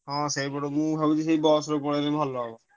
ହଁ ସେଇପଟକୁ ଭାବୁଛି ସେଇ ବସରେ ପଳେଇଲେ ଭଲ ହେବ।